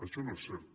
això no és cert